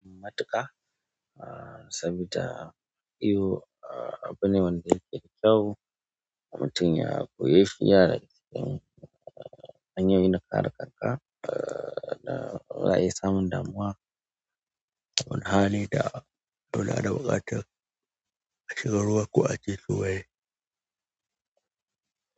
Matuƙa ahh sanda iyo abu ne wanda yake dakyau mutun ya koye shi yanada cikin hanyoyin na ƙara kanka za a iya samun damuwa wani hali da muna da buƙatan, shiga ruwa ko a ci suwaye.